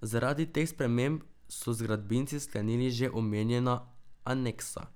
Zaradi teh sprememb so z gradbinci sklenili že omenjena aneksa.